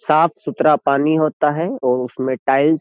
साफ सुथरा पानी होता है और उसमें टाइल्स --